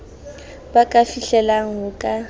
ba ka fihlellang ho ka